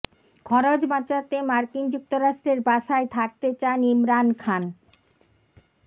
খরচ বাঁচাতে মার্কিন রাষ্ট্রদূতের বাসায় থাকতে চান ইমরান খান